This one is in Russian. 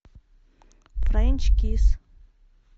френч кисс